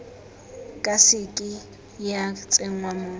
ka seke ya tsenngwa mo